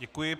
Děkuji.